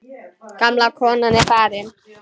Gamla konan er farin.